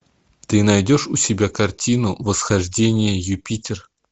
ты найдешь у себя картину восхождение юпитер